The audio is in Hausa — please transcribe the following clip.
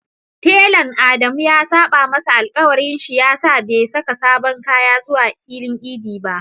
Talan Adamu ya saɓa masa alƙawari shi yasa bai saka sabon kaya zuwa filin idi ba.